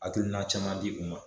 Hakilina caman b'i kun kan.